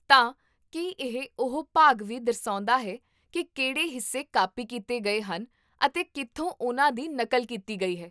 ਤਾਂ , ਕੀ ਇਹ ਓਹ ਭਾਗ ਵੀ ਦਰਸਾਉਂਦਾ ਹੈ ਕੀ ਕਿਹੜੇ ਹਿੱਸੇ ਕਾਪੀ ਕੀਤੇ ਗਏ ਹਨ ਅਤੇ ਕੀਥੋਂ ਉਹਨਾਂ ਦੀ ਨਕਲ ਕੀਤੀ ਗਈ ਹੈ?